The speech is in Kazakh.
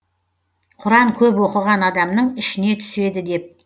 құран көп оқыған адамның ішіне түседі деп